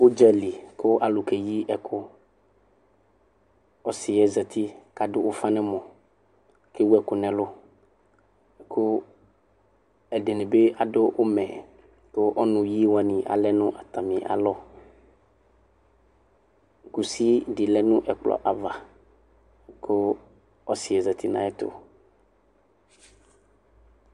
Ʋdzali kʋ alu keyi ɛkʋ Ɔsiyɛ zati kadʋ ʋfa nɛmɔ, kewɛkʋ nɛlu, kʋ ɛdini bi adʋ umɛKʋ ɔnuyi wani alɛ nʋ atamialɔKusi di lɛ nʋ ɛkplɔ'avaKʋ ɔsiɛ zati nayɛtu